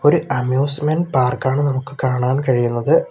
ഇത് അമ്യൂസിമെൻ പാർക്കാണ് നമുക്ക് കാണാൻ കഴിയുന്നത്.